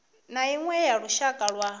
na iṅwe ya lushaka lwa